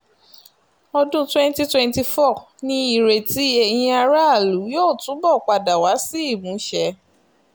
ọdún twenty twenty four ni ìrètí eyín aráàlú yóò túbọ̀ padà wá sí ìmúṣẹ